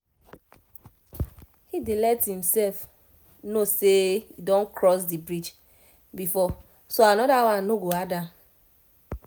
he dey let e self know say e don cross the bridge before so another one no go hard am